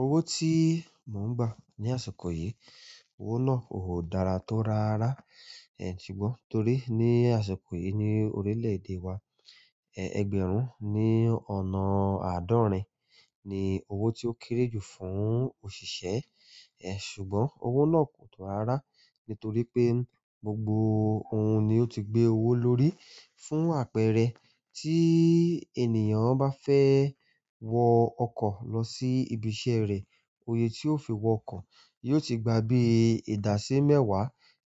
Owó tí mò ń gbà ní àsìkò yìí, owó náà kò dára tó rárá. Ẹ̀ ti gbọ t'ori ni àsìkò ni orile-ede wà ẹgbẹ̀rún ni ọ̀nà adọrin ni owó ti o kéré ju fún òṣìṣẹ́. Ẹ̀ ṣùgbọ́n owó náà kò tó rárá nítorí pé gbogbo òun ni ó ti gbé owó lórí. Fún àpẹẹrẹ, tí ènìyàn bá fẹ́ wọ ọkọ̀ lọ sí ibi iṣẹ́ rẹ̀, òye tí ó fi wọ ọkọ̀ yóò ti gba bí ìdási mẹ́wàá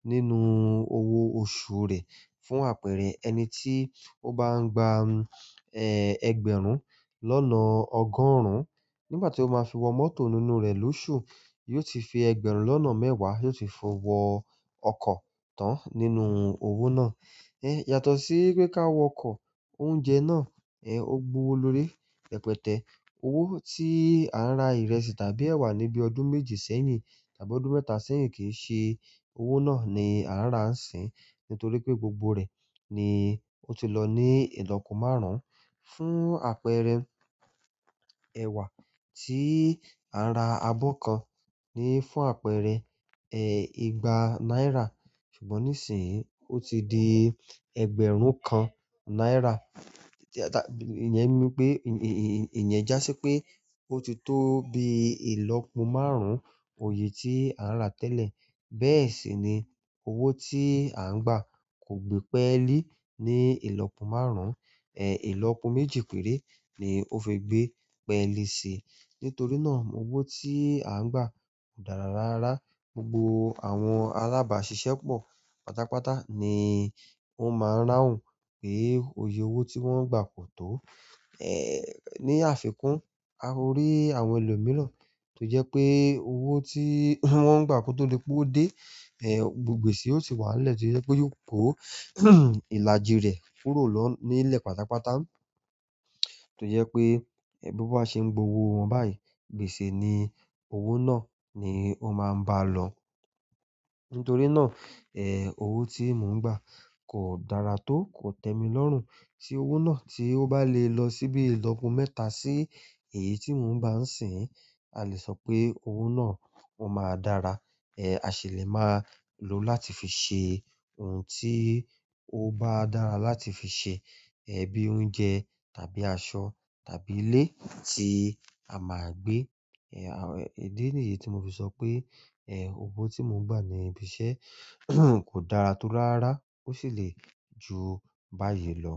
nínú owó oṣù rẹ̀. Fún àpẹẹrẹ, ẹni tí ó bá ń gba, ẹ́, ẹgbẹ̀rún lọ́nà ọgọ́rùn-ún nígbà tí ó máa fi wọ mọ́tò nínú rẹ̀ lóṣù, yóò ti fi ẹgbẹ̀rún lọ́nà mẹ́wàá yóò ti fi wọ ọkọ̀ tán nínú owó náà. Ẹ̀ yàtọ̀ sí pé ká wọ ọkọ̀, oúnjẹ náà, ẹ́, ó gbo owó lórí rẹpẹ́tẹ̀. Owó tí à ń ra ìrẹsì tàbí ẹ̀wà níbi ọdún méjì sẹ́yìn tàbí ọdún mẹ́ta sẹ́yìn kì n ṣe owó náà ni à ń ra sín. Nítorí pé gbogbo rẹ̀ ni ó ti lọ ní ìlọ́po márùn-ún. Fún àpẹẹrẹ, ẹ̀wà tí à ń ra àbọ̀ kan ni fún àpẹẹrẹ, ẹ́, ìgbà náírà ṣùgbọ́n nísìnyí ó ti di ẹgbẹ̀rún kan náírà. Ẹ̀ ì-- ìyẹn mú pé, ì-ì-ìyẹn jásí pé ó ti tó bí ìlọ́po márùn-ún òye tí à ń ra tẹ́lẹ̀. Bẹ́ẹ̀ sì ni owó tí à ń gbà kò gbé pẹ́ẹ́lì ní ìlọ́po márùn-ún. Ẹ̀ ìlọ́po méjì péré ni ó fi gbé pẹ́ẹ́lì si. Nítorí náà owó tí à ń gbà kò dára rárá. Gbogbo àwọn alábàáṣiṣẹ́ pọ̀ pátápátá ni ó máa ń ráhùn pé òye owó tí wọ́n ń gbà kò tó. Ẹ̀ ní àfikún, a o rí àwọn ẹlòmíràn tó jẹ́ pé owó tí wọ́n ń gbà kò tó di pé o dé, ẹ́, gbogbo gbèsè ó ti wà nílẹ̀ tí ó jẹ́ pé yóò kó ìlàjì rẹ̀ kúrò lọ nílẹ̀ pátápátá. Tó jẹ́ pé, ẹ, bí ó bá ṣe ń gbowó wọn báyìí, gbèsè ni owó náà ni ó máa ń bá lọ. Nítorí náà, ẹ́, owó tí mò ń gbà kò dára tó, kò tẹ́mi lọ́rùn. Tí owó náà tí ó bá le lọ síbí ìlọ́po mẹ́ta sí èyí tí mò ń bá ń sìn, a le sọ pé owó náà ó máa dára. Ẹ̀ a ṣèlérò máa lo láti fi ṣe ohun tí ó bá dára láti fi ṣe. Ẹ̀ bí i oúnjẹ tàbí aṣọ tàbí ilé tí a máa gbé. Ẹ̀ àwọn-- ìdí nìyí tí mo fi sọ pé, ẹ́, owó tí mò ń gbà ní ibi iṣẹ́ kò dára tó rárá ó sì lè ju báyìí lọ.